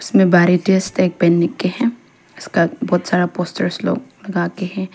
इसमें भारतीय state bank का है उसका बहोत सारा पोस्टर्स लोग लगा हैं।